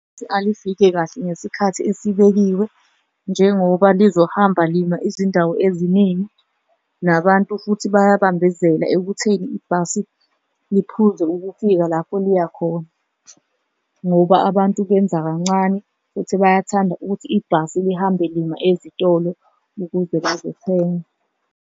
Alifikile kahle ngesikhathi esibekiwe njengoba lizohamba lima izindawo eziningi nabantu futhi bayabambezela ekutheni ibhasi liphuze ukufika lapho liya khona, ngoba abantu benza kancane futhi bayathanda ukuthi ibhasi lihambe lima ezitolo ukuze bazothenga.